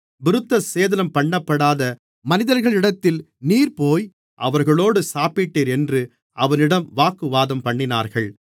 விருத்தசேதனம்பண்ணப்படாத மனிதர்களிடத்தில் நீர் போய் அவர்களோடு சாப்பிட்டீர் என்று அவனிடம் வாக்குவாதம்பண்ணினார்கள்